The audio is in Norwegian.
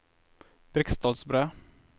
Briksdalsbre